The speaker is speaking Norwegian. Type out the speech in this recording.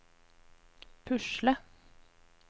pusle